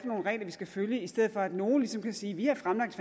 nogle regler vi skal følge i stedet for at nogle ligesom kan sige vi har fremlagt